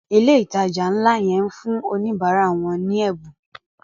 ilé ìtàjà nlá ye ń fún Oníbàárà wón ní Ẹbùn.